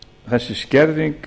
þessi skerðing